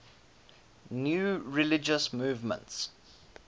new religious movements